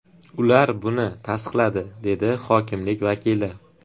Ular buni tasdiqladi”, dedi hokimlik vakili.